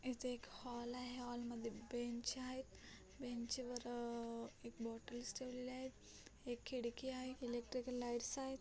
इथे एक हॉल आहे हॉल मध्ये बेंच आहेत बेंच वर एक बोटेल्स ठेवलेले आहेत एक खिडकी आहे इलेक्ट्रिकल्स लाइटस आहेत.